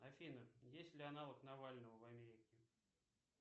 афина есть ли аналог навального в америке